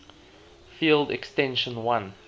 field extension l